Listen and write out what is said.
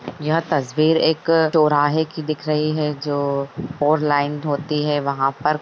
यहा तस्वीर एक चोराहे की दिख रही है जो फॉर लाइन होती है वहा पर --